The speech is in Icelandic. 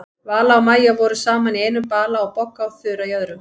Vala og Maja voru saman í einum bala og Bogga og Þura í öðrum.